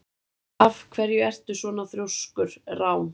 Af hverju ertu svona þrjóskur, Rán?